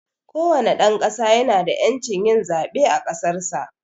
kowane dan ƙasa ya na da yancin yin zaɓe a ƙasarsa.